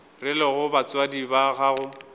re lego batswadi ba gago